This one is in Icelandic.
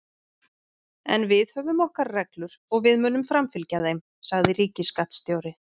En við höfum okkar reglur og við munum framfylgja þeim, sagði ríkisskattstjóri